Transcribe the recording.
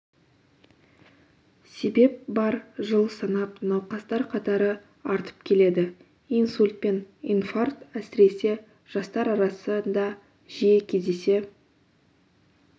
себеп бар жыл санап науқастар қатары артып келеді инсульт пен инфаркт әсіресе жастар арасында жиі кездесе